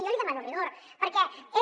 jo li demano rigor perquè és